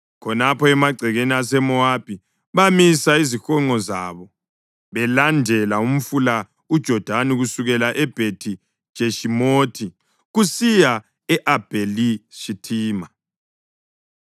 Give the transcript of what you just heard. Khonapho emagcekeni aseMowabi bamisa izihonqo zabo belandela umfula uJodani kusukela eBhethi-Jeshimothi kusiya e-Abheli-Shithima.